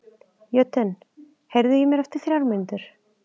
Jötunn, heyrðu í mér eftir þrjár mínútur.